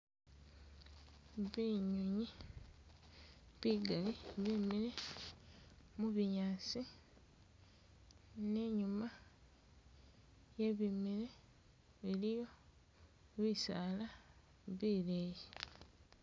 Binyonyi bigaali bimile mubinyaasi ne inyuma iye bimile iliyo bisaala bileyi.